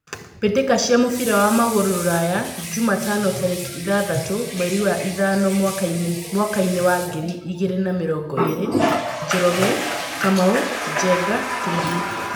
Mbĩtĩka cia mũbira wa magũrũ Ruraya Jumatano tarĩki ithathatũ mweri wa ĩtano mwakainĩ wa ngiri igĩrĩ na mĩrongo ĩrĩ :Njoroge, Kamau, Njenga, Kimani.